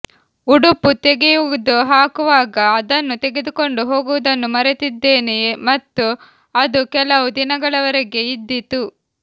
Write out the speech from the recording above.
ಉಡುಪು ತೆಗೆದುಹಾಕುವಾಗ ಅದನ್ನು ತೆಗೆದುಕೊಂಡು ಹೋಗುವುದನ್ನು ಮರೆತಿದ್ದೇನೆ ಮತ್ತು ಅದು ಕೆಲವು ದಿನಗಳವರೆಗೆ ಇದ್ದಿತು